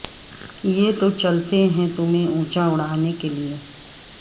یہ تو چلتے ہیں تمہیں اونچا اڑانے کے لئے